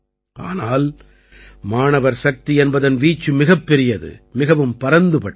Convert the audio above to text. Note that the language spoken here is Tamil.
ஆனால் மாணவர் சக்தி என்பதன் வீச்சு மிகப்பெரியது மிகவும் பரந்துபட்டது